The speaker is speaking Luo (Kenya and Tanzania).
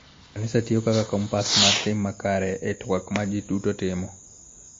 Kanisa tiyo kaka kompas mar tim makare e twak ma ji duto timo.